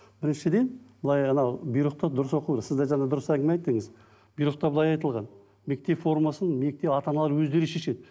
біріншіден былай анау бұйрықты дұрыс оқу сіздер жаңа дұрыс әңгіме айттыңыз бұйрықта былай айтылған мектеп формасын ата аналар өздері шешеді